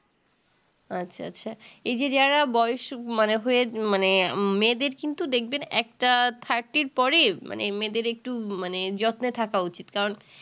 আচ্ছা আচ্ছা এই যে যারা বয়স মানা হয়ে মানে মেয়েদের কিন্তু দেখবেন একটা thirty এর পরে মানে মেয়েদের একটু মানে যত্নে থাকা উচিত কারণ